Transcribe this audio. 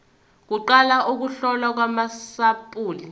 kuqala ukuhlolwa kwamasampuli